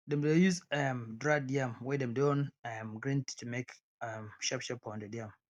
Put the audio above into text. dem dey use um dried yam wey dem don um grind to take make um sharp sharp pounded yam